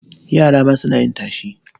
Yara ma suna yin tashe.